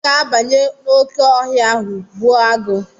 Ị ga-abanye n'oké ọhịa ahụ gbuo agụ̀!